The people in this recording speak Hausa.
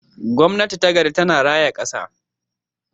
Gwamnati ta gari tana raya kasa.